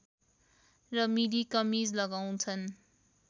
र मिडी कमिज लगाउँछन्